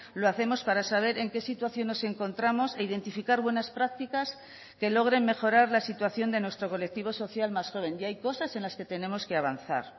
lo hacemos para saber en qué situación nos encontramos e identificar buenas prácticas que logren mejorar la situación de nuestro colectivo social más joven y hay cosas en las que tenemos que avanzar